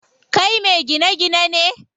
Kai me gine gine ne?